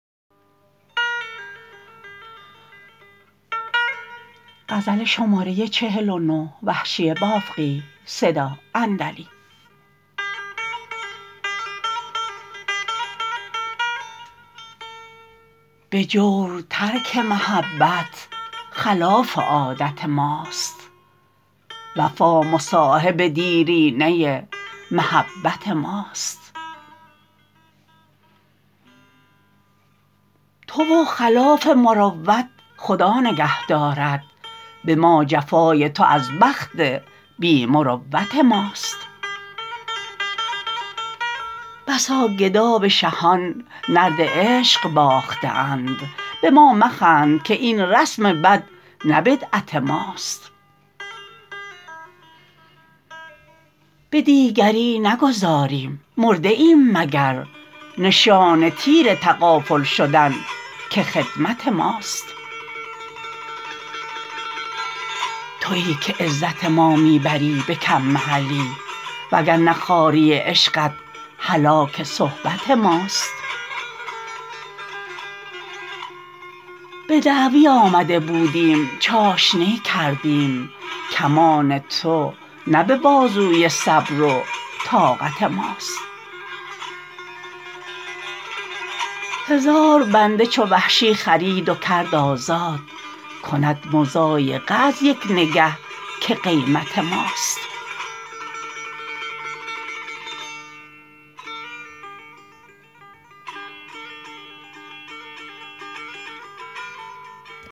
به جور ترک محبت خلاف عادت ماست وفا مصاحب دیرینه محبت ماست تو و خلاف مروت خدا نگه دارد به ما جفای تو از بخت بی مروت ماست بسا گدا به شهان نرد عشق باخته اند به ما مخند که این رسم بد نه بدعت ماست به دیگری نگذاریم مرده ایم مگر نشان تیر تغافل شدن که خدمت ماست تویی که عزت ما می بری به کم محلی و گرنه خواری عشقت هلاک صحبت ماست به دعوی آمده بودیم چاشنی کردیم کمان تو نه به بازوی صبر و طاقت ماست هزار بنده چو وحشی خرید و کرد آزاد کند مضایقه از یک نگه که قیمت ماست